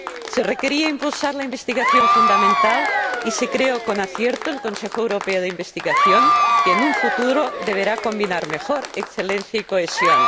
Se requería impulsar la investigación fundamental y se creó, con acierto, el Consejo Europeo de Investigación, que, en un futuro, deberá combinar mejor excelencia y cohesión.